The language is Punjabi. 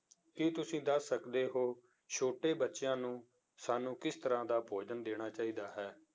ਕੀ ਤੁਸੀਂ ਦੱਸ ਸਕਦੇੇ ਹੋ ਛੋਟੇ ਬੱਚਿਆਂ ਨੂੰ ਸਾਨੂੰ ਕਿਸ ਤਰ੍ਹਾਂ ਦਾ ਭੋਜਨ ਦੇਣਾ ਚਾਹੀਦਾ ਹੈ?